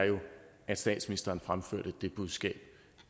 at statsministeren fremførte det budskab